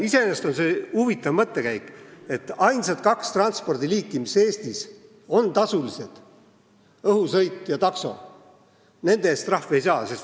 Iseenesest on see huvitav mõttekäik, et ainsad kaks transpordiliiki, mis Eestis on tasulised – õhusõit ja taksosõit –, seal enam trahvi ei saa.